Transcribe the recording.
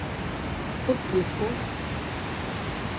uppgiften